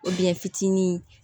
fitinin